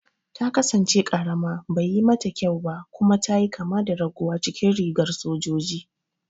Ta kasance karama, baiyi mata kyau ba kuma ta yi kama da raguwa cikin rigar sojoji.